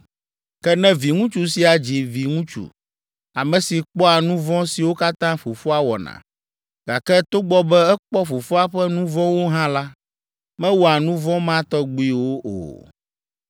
“Ke ne viŋutsu sia dzi viŋutsu, ame si kpɔa nu vɔ̃ siwo katã fofoa wɔna, gake togbɔ be ekpɔ fofoa ƒe nu vɔ̃wo hã la, mewɔa nu vɔ̃ ma tɔgbiwo o.